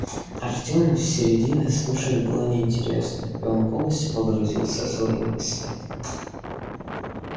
артему с середины слушать было неинтересно и он полностью погрузился в свои мысли